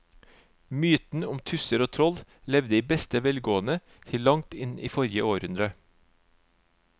Mytene om tusser og troll levde i beste velgående til langt inn i forrige århundre.